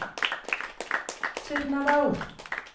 Surnadal